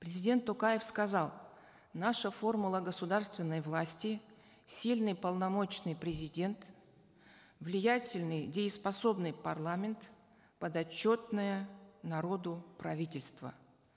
президент токаев сказал наша формула государственной власти сильный полномочный президент влиятельный дееспособный парламент подотчетное народу правительство